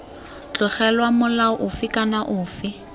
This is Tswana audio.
tlogelwa molao ofe kana ofe